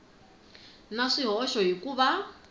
na swihoxo hi ku va